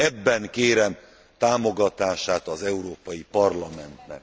Ebben kérem támogatását az Európai Parlamentnek.